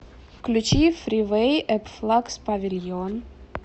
включи фривей эп флакс павильон